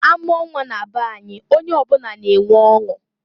Amụọ nnwa na be any, onye ọ bụna na-enwe ọṅụ.